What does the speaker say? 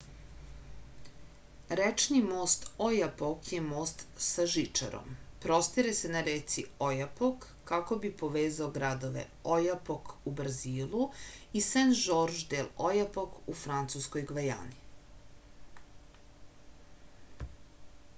rečni most ojapok je most sa žičarom prostire se na reci ojapok kako bi povezao gradove ojapok u brazilu i sen-žorž del ojapok u francuskoj gvajani